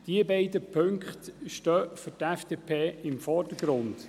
Diese beiden Punkte stehen für die FDP im Vordergrund.